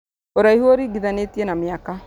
Ũraihu ũringithanĩtie na mĩaka